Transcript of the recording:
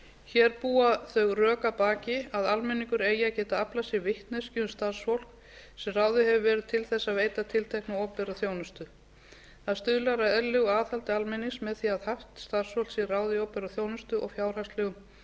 hér búa þau rök að baki að almenning eigi að geta aflað sér vitneskju um starfsfólk sem ráðið hefur verið til að veita tiltekna opinbera þjónustu það stuðlar að eðlilegu aðhaldi almennings með því að fátt starfsfólk sé ráðið í opinbera þjónustu og fjárhagslegum